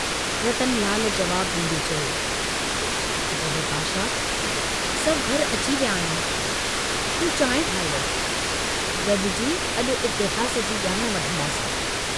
रतनलाल जवाब डींदे चयो, "पुट, विपाशा सभु घर अची विया आहियूं, तूं चांहि ठाहे वठु, गडिजी अजु इतिहास जी जाण वठंदासीं।